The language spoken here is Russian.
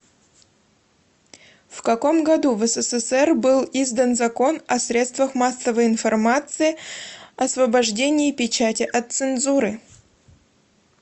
в каком году в ссср был издан закон о средствах массовой информации освобождении печати от цензуры